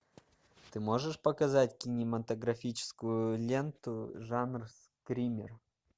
ты можешь показать кинематографическую ленту жанр скример